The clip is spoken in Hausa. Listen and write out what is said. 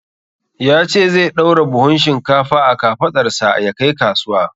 Ya ce zai ɗaura buhun shinkfa a kafaɗarsa ya kai kasuwa.